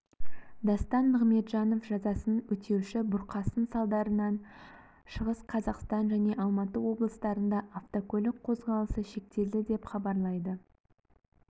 дастан нығметжанов жазасын өтеуші бұрқасын салдарынан шығыс қазақстан және алматы облыстарында автокөлік қозғалысы шектелді деп хабарлайды